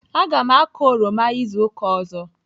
Aga m akọ oroma izu ụka ọzọ.